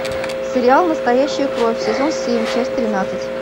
сериал настоящая кровь сезон семь часть тринадцать